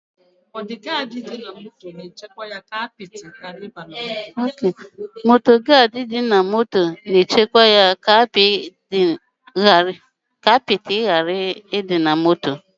Ihe nchekwa apịtị na-echebe ahụ ụgbọ ala pụọ ​​na irighiri ihe na mwụsa mmiri